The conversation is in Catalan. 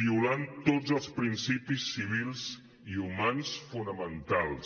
violant tots els principis civils i humans fonamentals